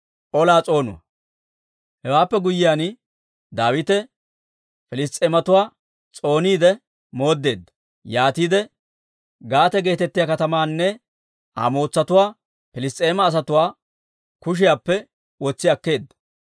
Hewaappe guyyiyaan, Daawite Piliss's'eematuwaa s'ooniide mooddeedda; yaatiide Gaate geetettiyaa katamaanne Aa mootsatuwaa Piliss's'eema asatuwaa kushiyaappe wotsi akkeedda.